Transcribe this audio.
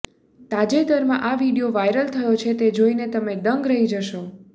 તાજેતરમાં આ video viral થયો છે તે જોઇ તમે દંગ રહી જશો